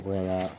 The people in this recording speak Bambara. Bonya